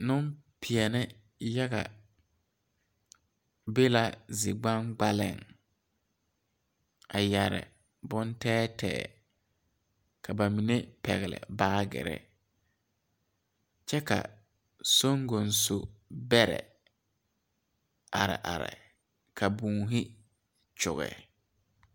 Neŋpeɛɛle yaga be la zi gbaŋgbaleŋ a yɛre bon tɛɛtɛɛ ka ba mine pɛgle baagyirre kyɛ ka songonso bɛrɛ are are ka būūne kyoge.